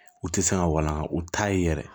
U tɛ se ka walanga u t'a ye yɛrɛ